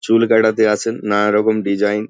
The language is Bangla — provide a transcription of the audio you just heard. চুল কাটাতে আসেন নানা রকম ডিসাইন --